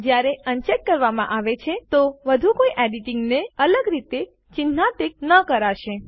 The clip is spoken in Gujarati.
જયારે અનચેક કરવામાં આવે છે તો વધુ કોઇ એડીટીંગ ને અલગ રીતે ચીન્હાન્કિત ન કરાશે